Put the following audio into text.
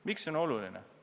Miks see on oluline?